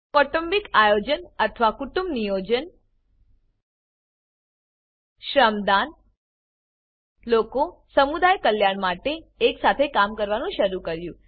કૌટુંબિક આયોજન અથવા કુટુંબ Niyojanકુટુંબ નિયોજન Shramdaanશ્રમદાન લોકો સમુદાય કલ્યાણ માટે એક સાથે કામ કરવાનું શરૂ કર્યું